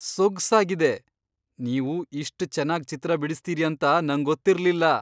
ಸೊಗ್ಸಾಗಿದೆ! ನೀವು ಇಷ್ಟ್ ಚೆನ್ನಾಗ್ ಚಿತ್ರ ಬಿಡಿಸ್ತೀರಿ ಅಂತ ನಂಗೊತ್ತಿರ್ಲಿಲ್ಲ!